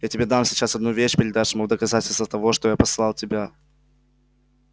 я тебе дам сейчас одну вещь передашь ему в доказательство того что тебя послал я